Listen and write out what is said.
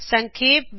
ਸਂਖੇਪ ਵਿਚ